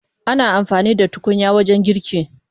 Ana amfani da tukunya wajen girki.